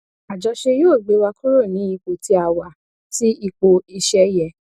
àjọṣe yóò gbé wa kúrò ní ipò tí a wà sí ipò iṣẹ yẹ